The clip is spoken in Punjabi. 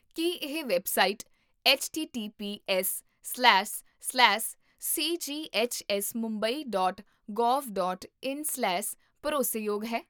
ਕੀ ਇਹ website ਐੱਚਟੀਟੀਪੀਐੱਸਸਲੈਸ slash CGHS Mumbai dot gov dot ਇਨ ਸਲੈਸ ਭਰੋਸੇਯੋਗ ਹੈ?